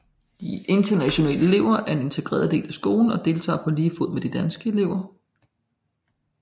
De internationale elever er en integreret del af skolen og deltager på lige fod med de danske elever